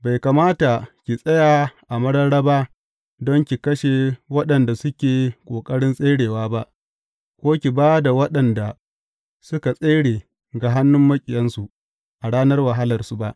Bai kamata ki tsaya a mararraba don ki kashe waɗanda suke ƙoƙarin tserewa ba, ko ki ba da waɗanda suka tsere ga hannun maƙiyansu a ranar wahalarsu ba.